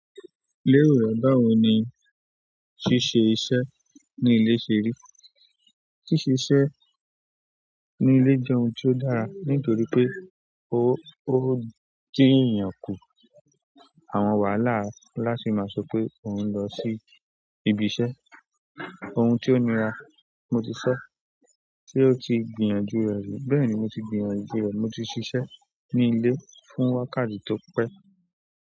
Léro rẹ̀, báwo ni ṣíṣe iṣẹ́ ní ilé ṣe rí? Ṣíṣe iṣẹ́ ní ilé jẹ́ ohun ti o dára nítorí pé ó, ó ń jẹ́ kí èèyàn kù àwọn wàhálà láti máa sọ pé òun ń lọ sí ibi iṣẹ́. Ohun tí ó nira, mo ti sọ, tí ó ti gbìyànjú rẹ̀, bẹ́ẹ̀ ni mo ti gbìyànjú rẹ̀. Mo ti ṣiṣẹ́ ní ilé fún wákàtí tó pẹ́.